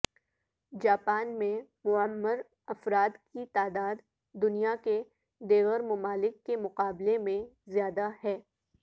Japan میں معمر افراد کی تعداد دنیا کے دیگر ممالک کے مقابلے میں زیادہ ہے